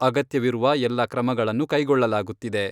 ಅಗತ್ಯವಿರುವ ಎಲ್ಲ ಕ್ರಮಗಳನ್ನು ಕೈಗೊಳ್ಳಲಾಗುತ್ತಿದೆ.